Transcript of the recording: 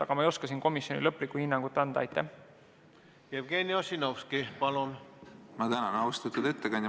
Aga ma ei oska komisjoni lõplikku hinnangut anda.